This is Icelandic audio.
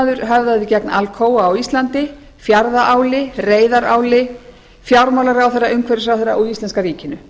fyrrvhvalþingismaður höfðaði gegn alcoa á íslandi fjarðaáli sf reyðaráli fjármálaráðherra umhverfisráðherra og íslenska ríkinu